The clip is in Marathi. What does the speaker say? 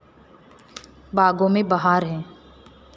बागों में बहार है